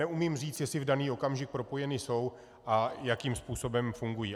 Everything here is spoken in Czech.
Neumím říct, jestli v daný okamžik propojeny jsou a jakým způsobem fungují.